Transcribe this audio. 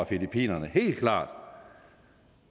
filippinerne helt klart